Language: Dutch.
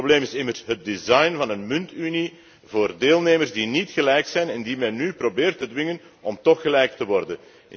Het probleem is immers het design van een muntunie voor deelnemers die niet gelijk zijn en die men nu probeert te dwingen om tóch gelijk te worden.